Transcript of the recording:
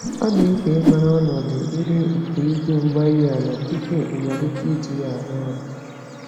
Ọ dị mkpa ịmara ọnọdụ ire nke igwe-mgbárí-ala tupu ịmalite iji ya arụ ọrụ